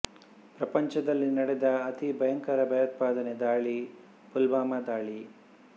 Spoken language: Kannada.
ಪ್ರಪಂಚದಲ್ಲಿ ನಡೆದ ಅತಿ ಭಯಂಕರ ಭಯೋತ್ಪಾದನೆ ದಾಳಿ ಪುಲ್ವಾಮಾ ದಾಳಿ